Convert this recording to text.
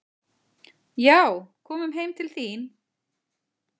"""Já, komum heim til þín."""